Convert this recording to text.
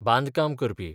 बांदकाम करपी